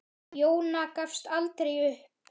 Jóna gafst aldrei upp.